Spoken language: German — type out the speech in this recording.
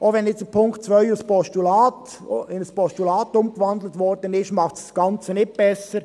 Auch dass der Punkt 2 in ein Postulat gewandelt wurde, macht das Ganze nicht besser.